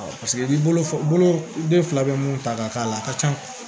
paseke ni bolo den fila be mun ta ka k'a la a ka ca